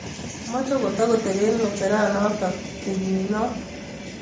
Machei kotakotepee ng'echeranatak kenyi noo